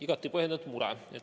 Igati põhjendatud mure.